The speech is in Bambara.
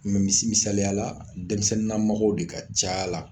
misi misaliya la denmisɛnninna mɔgɔw de ka ca la